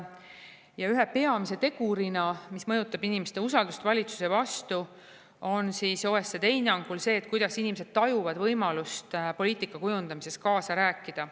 Ja üks peamine tegur, mis mõjutab inimeste usaldust valitsuse vastu, on OECD hinnangul see, kuidas inimesed tajuvad võimalust poliitika kujundamisel kaasa rääkida.